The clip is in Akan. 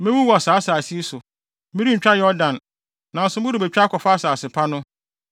Mewu wɔ asase yi so; merentwa Yordan; nanso morebetwa akɔfa asase pa no.